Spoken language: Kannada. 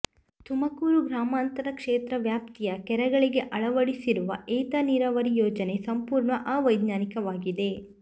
ತುಮಕೂರು ಗ್ರಾಮಾಂತರ ಕ್ಷೇತ್ರ ವ್ಯಾಪ್ತಿಯ ಕೆರೆಗಳಿಗೆ ಅಳವಡಿಸಿರುವ ಏತ ನೀರಾವರಿ ಯೋಜನೆ ಸಂಪೂರ್ಣ ಅವೈಜ್ಞಾನಿಕವಾಗಿದೆ